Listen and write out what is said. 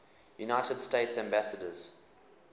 united states ambassadors